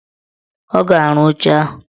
Ọ ga-arụ oche ahụ.